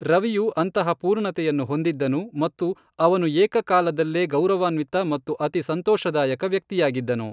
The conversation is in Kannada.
ರವಿಯು ಅಂತಹ ಪೂರ್ಣತೆಯನ್ನು ಹೊಂದಿದ್ದನು ಮತ್ತು ಅವನು ಏಕ ಕಾಲದಲ್ಲೇ ಗೌರವಾನ್ವಿತ ಮತ್ತು ಅತಿ ಸಂತೋಷದಾಯಕ ವ್ಯಕ್ತಿಯಾಗಿದ್ದನು.